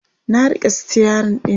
na rike stirin ɗin